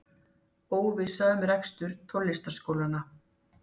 Óvissa um rekstur tónlistarskólanna